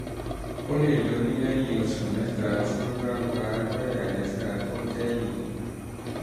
o lè lóyún lè lóyún ní oṣù mẹ́ta lẹ́yìn tí o ti gba abẹ́rẹ́ àjẹsára tó kẹ́yìn